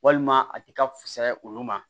Walima a ti ka fusaya olu ma